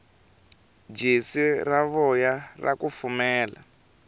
jesi ra voya ra kufumela